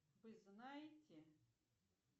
вы знаете